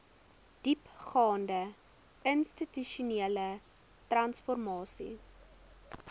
diepgaande institusionele transformasie